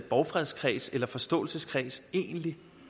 borgfredskreds eller forståelseskreds egentlig